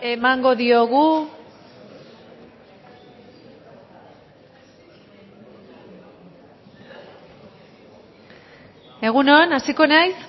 emango diogu egun on hasiko naiz